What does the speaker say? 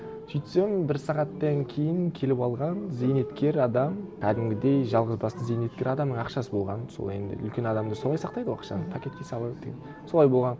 сөйтсем бір сағаттан кейін келіп алған зейнеткер адам кәдімгідей жалғыз басты зейнеткер адамның ақшасы болған сол енді үлкен адамдар солай сақтайды ғой ақшаны пакетке салып деген солай болған